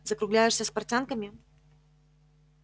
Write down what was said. закругляешься с портянками